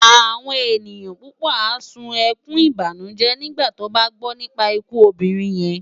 Awòn éniyan púpò á sún èkún ibánújé nigbá tòbá gbò nipá ikú òbirin yèn